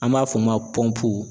An b'a f'o ma